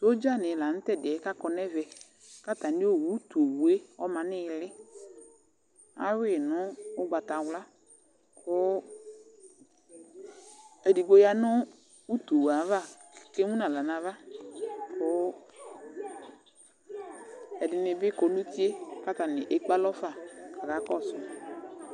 Sodzanɩ la nʋ tʋ ɛdɩ yɛ kʋ akɔ nʋ ɛvɛ kʋ atamɩ utu owu yɛ ɔma nʋ ɩɩlɩ Ayʋɩ nʋ ʋgbatawla kʋ edigbo ya nʋ utu yɛ ava kʋ emu nʋ aɣla nʋ ava kʋ ɛdɩnɩ bɩ kɔ nʋ uti yɛ kʋ atanɩ ekpe alɔ fa kʋ akakɔsʋ yɩ